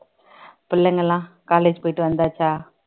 பிள்ளைங்க எல்லாம் college போயிட்டு வந்தாச்சா